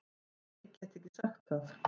Nei get ekki sagt það.